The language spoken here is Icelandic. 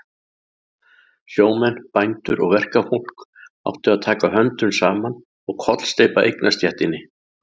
Sjómenn, bændur og verkafólk áttu að taka höndum saman og kollsteypa eignastéttinni.